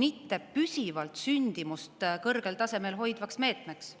mitte püsivalt sündimust kõrgel tasemel hoidvaks meetmeks.